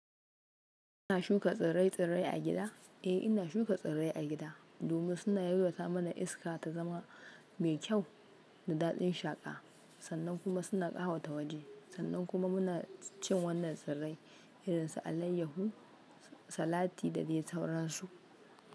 Kuna shuka tsirrai-tsirrai a gida? Eh, ina shuka tsirrai a gida domin suna yalwata mana iska tazama mai kyau da daɗin shaƙa. Sannan kuma suna ƙawata waje. Sannan kuma muna cin wannan tsirrai irinsu alayyahu, salati da dai sauransu.